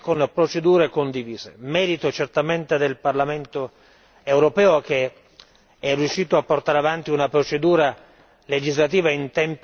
Merito certamente del Parlamento europeo che è riuscito a portare avanti una procedura legislativa in tempi veramente congrui.